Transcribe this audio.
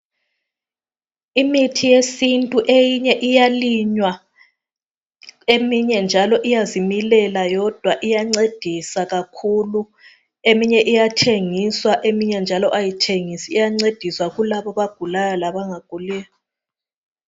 Imithi yesintu eyinye iyalinywa, eminye njalo iyazimilela yodwa iyancedisa kakhulu. Eminye iyathengiswa eminye njalo ayithengiswa iyancedisa kulabo abagulayo labangaguliyo.